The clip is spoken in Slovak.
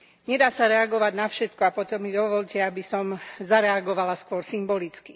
Nedá sa reagovať na všetko a potom mi dovoľte, aby som zareagovala skôr symbolicky.